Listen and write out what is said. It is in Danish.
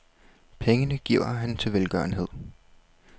Pengene giver han til velgørenhed.